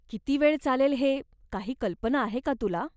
किती वेळ चालेल हे, काही कल्पना आहे का तुला?